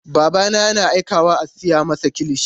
Babana yana aikawa a siya masa kilishi.